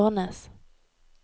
Ornes